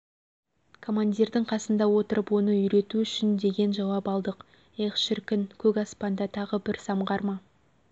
командирдің қасында отырып оны үйрету үшін деген жауап алдық эх шіркін көкаспанда тағы бір самғар ма